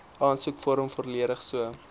aansoekvorm volledig so